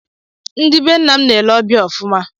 Ndị be nna m na-ele ọbịa ọfụma